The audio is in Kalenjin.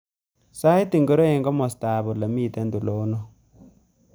Sait ngiro eng komostab olemiten tulondok